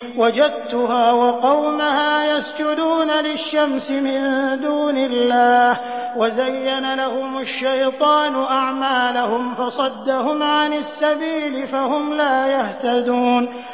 وَجَدتُّهَا وَقَوْمَهَا يَسْجُدُونَ لِلشَّمْسِ مِن دُونِ اللَّهِ وَزَيَّنَ لَهُمُ الشَّيْطَانُ أَعْمَالَهُمْ فَصَدَّهُمْ عَنِ السَّبِيلِ فَهُمْ لَا يَهْتَدُونَ